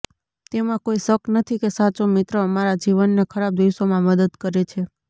તેમાં કોઈ શક નથી કે સાચો મિત્ર અમારા જીવનના ખરાબ દિવસોમાં મદદ કરે છે